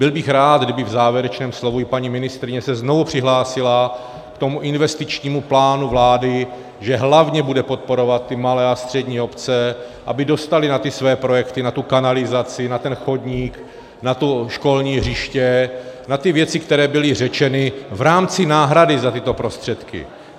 Byl bych rád, kdyby v závěrečném slovu i paní ministryně se znovu přihlásila k tomu investičnímu plánu vlády, že hlavně bude podporovat ty malé a střední obce, aby dostaly na ty své projekty, na tu kanalizaci, na ten chodník, na to školní hřiště, na ty věci, které byly řečeny v rámci náhrady za tyto prostředky.